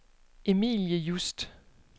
Emilie Just